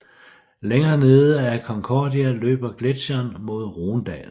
Længere nede end Concordia løber gletsjeren mod Rhonedalen